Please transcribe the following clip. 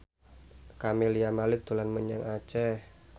Camelia Malik dolan menyang Aceh